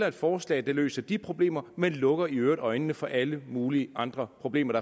et forslag der løser de problemer men lukker i øvrigt øjnene for alle mulige andre problemer